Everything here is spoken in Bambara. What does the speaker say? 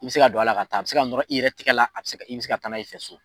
I be se ka don a la ka taa a be se ka nɔrɔ i yɛrɛ tigɛ la i be se taa n'a ye i fɛ so